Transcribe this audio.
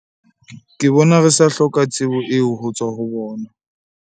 Ke bona re sa hloka tsebo eo ho tswa ho bona.